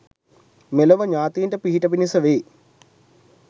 මෙලොව ඤාතීන්ට පිහිට පිණිස වේ.